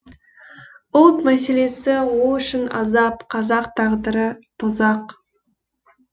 ұлт мәселесі ол үшін азап қазақ тағдыры тозақ